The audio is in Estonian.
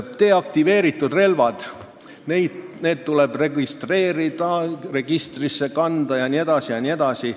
Deaktiveeritud relvad tuleb registreerida, registrisse kanda jne.